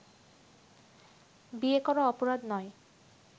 বিয়ে করা অপরাধ নয়